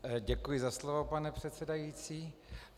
Děkuji za slovo, pane předsedající.